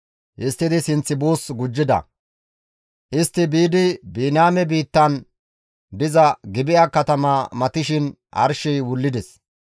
Histtidi sinth buus gujjida; istti biidi Biniyaame biittan diza Gibi7a katama matishin arshey wullides.